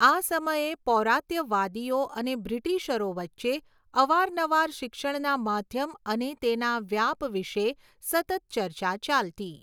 આ સમયે પૌરાત્યવાદીઓ અને બ્રિટીશરો વચ્ચે અવારનવાર શિક્ષણના માધ્યમ અને તેના વ્યાપ વિશે સતત ચર્ચા ચાલતી.